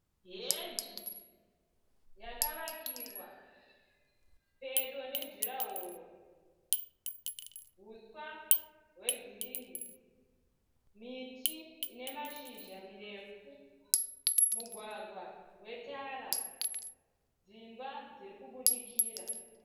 Heji yakavakirwa pedo nejurahoro, huswa wegirinhi, miti inemashizha mirefu, mugwagwa wetara, dzimba dzeikubudikira.